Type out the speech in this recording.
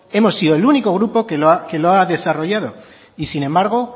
hemos sido el único grupo que lo ha desarrollado y sin embargo